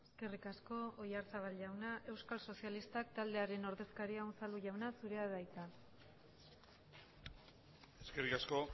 eskerrik asko oyarzabal jauna euskal sozialistak taldearen ordezkaria unzalu jauna zurea da hitza eskerrik asko